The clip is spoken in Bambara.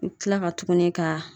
U bi kila ka tuguni ka